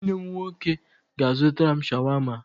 Nwanne m nwoke ga-azụtara m Shawama.